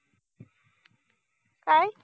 काय